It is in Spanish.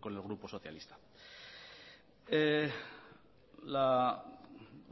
con el grupo socialista la